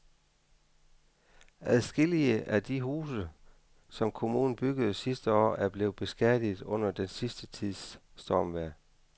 Adskillige af de huse, som kommunen byggede sidste år, er blevet beskadiget under den sidste tids stormvejr.